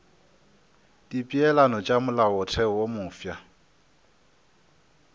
dipeelano tša molaotheo wo mofsa